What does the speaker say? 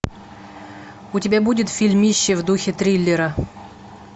у тебя будет фильмище в духе триллера